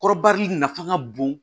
Kɔrɔbari nafa ka bon